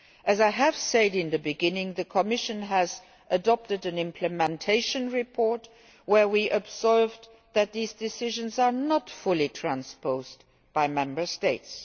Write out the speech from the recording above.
orders. As I said at the beginning, the Commission has adopted an implementation report in which we observed that these decisions have not been fully transposed by Member